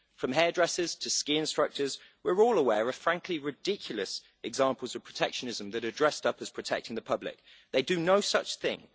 From hairdressers to ski instructors, we're all aware of, frankly, ridiculous examples of protectionism that are dressed up as protecting the public. They do no such thing.